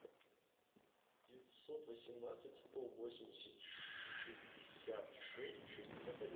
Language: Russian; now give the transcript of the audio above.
девятьсот восемнадцать сто восемьдесят шестьдесят шесть шестьдесят один